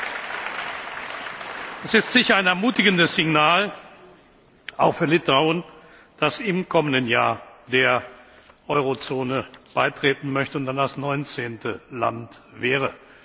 Dies ist sicher ein ermutigendes Signal auch für Litauen, das im kommenden Jahr dem Euro Währungsgebiet beitreten möchte und dann das 19. Land wäre.